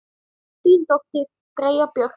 Þín dóttir, Freyja Björk.